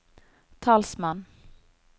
talsmann